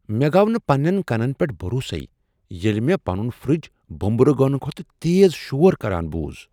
مےٚ گو٘ نہٕ پنٛنٮ۪ن کنن پٮ۪ٹھ بھروسے ییلہِ مے٘ پنٖن فرج بوٚمبررٕ گنہٕ کھۄتہٕ تیز شور كران بوٗز ۔